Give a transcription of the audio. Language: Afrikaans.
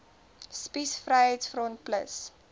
spies vryheids front plus